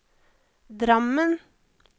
Drammen